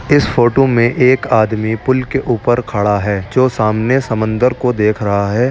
इस फोटू में एक आदमी पुल के ऊपर खड़ा है जो सामने समंदर को देख रहा है।